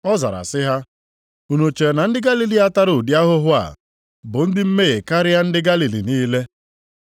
Ọ zara sị ha, “Unu chere na ndị Galili a tara ụdị ahụhụ a bụ ndị mmehie karịa ndị Galili niile?